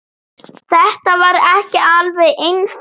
Þetta var ekki alveg einfalt